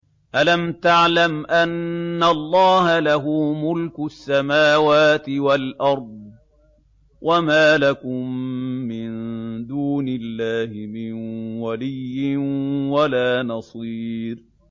أَلَمْ تَعْلَمْ أَنَّ اللَّهَ لَهُ مُلْكُ السَّمَاوَاتِ وَالْأَرْضِ ۗ وَمَا لَكُم مِّن دُونِ اللَّهِ مِن وَلِيٍّ وَلَا نَصِيرٍ